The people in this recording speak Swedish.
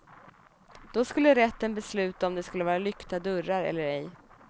Då skulle rätten besluta om det skulle vara lyckta dörrar eller ej.